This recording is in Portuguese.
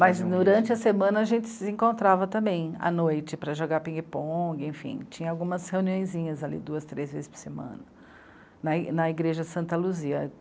Mas durante a semana a gente se encontrava também, à noite, para jogar pingue-pongue, enfim, tinha algumas reuniõezinhas ali, duas, três vezes por semana, na i... na Igreja Santa Luzia.